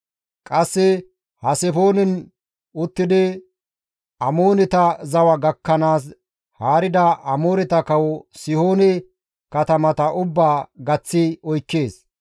Qasse Haseboonen uttidi Amooneta zawa gakkanaas haarida Amooreta kawo Sihoone katamata ubbaa gaththi oykkees.